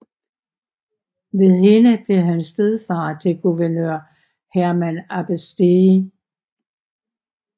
Ved hende blev han stedfader til guvernør Hermann Abbestée